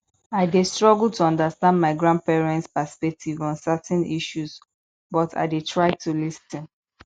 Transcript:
i dey struggle to understand my grandparents perspective on certain issues but i dey try to lis ten